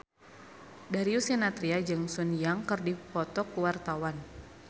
Darius Sinathrya jeung Sun Yang keur dipoto ku wartawan